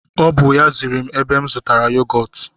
O bụ ya ziri m ebe m zụtara yogọtu